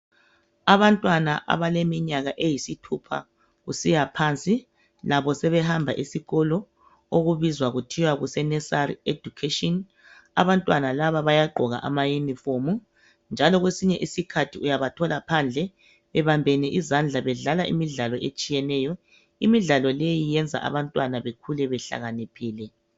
Abantwana abaleminyaka eyisithupha kusiya phansi. Labo sebehamba esikolo okubizwa kuthiwa kuse nursery education . Abantwana laba bayagqoka ama uniform . Njalo kwesinye isikhathi uyabathola bebambene izandla bedlala imidlalo etshiyeneyo. Imidlalo leyi yenza abantwana bekhule behlakaniphile.